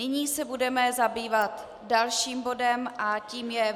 Nyní se budeme zabývat dalším bodem a tím je